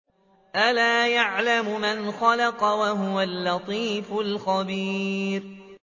أَلَا يَعْلَمُ مَنْ خَلَقَ وَهُوَ اللَّطِيفُ الْخَبِيرُ